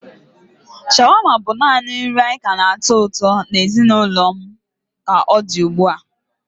Shawarma bụ naanị nri anyị ka na-atọ ụtọ na ezinụlọ m ka ọ dị ugbu a.